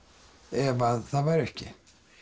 ef að það væri ekki